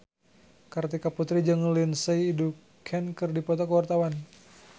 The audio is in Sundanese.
Kartika Putri jeung Lindsay Ducan keur dipoto ku wartawan